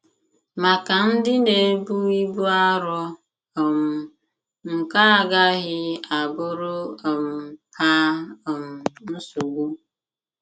Maka ndi n'ebu ibu arọ um nke a agaghi abụrụ um ha um nsogbụ